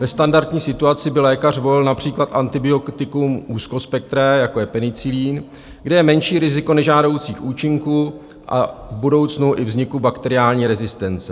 Ve standardní situaci by lékař volil například antibiotikum úzkospektré, jako je penicilin, kde je menší riziko nežádoucích účinků a v budoucnu i vzniku bakteriální rezistence.